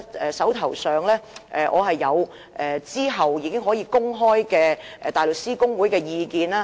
我手上其實有後期可予公開的大律師公會意見。